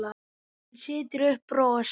Hún setur upp bros.